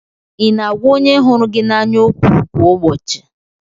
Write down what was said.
Ị na-agwa onye hụrụ gị n'anya okwu kwa ụbọchị?